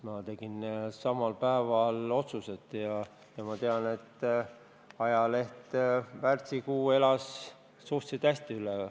Ma tegin samal päeval otsused ja ma tean, et ajaleht elas märtsikuu suhteliselt hästi üle.